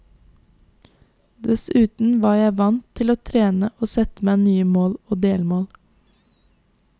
Dessuten var jeg vant til å trene og sette meg nye mål og delmål.